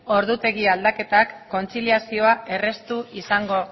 ordutegi aldaketa kontziliazioa erraztu izango